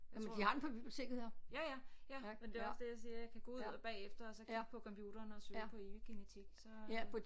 Tror du ja ja tak men det er også det jeg siger jeg kan gå ud og bagefter og så kigge på computeren og søge på epigenetik så øh